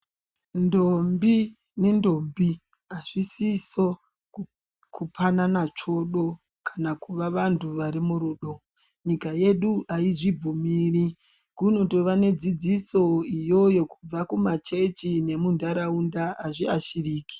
Ndombi nendombi hazvisiso kupanana tsvodo kana kuva vantu vari murudo. Nyika yedu haizvibvumiri kunotova nedzidziso iyoyo kubva kumachechi nemuntaraunda hazviashiriki.